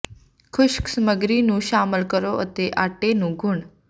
ਖੁਸ਼ਕ ਸਮੱਗਰੀ ਨੂੰ ਸ਼ਾਮਲ ਕਰੋ ਅਤੇ ਆਟੇ ਨੂੰ ਗੁਨ੍ਹ